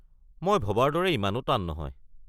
মই ভবাৰ দৰে ইমানো টান নহয়৷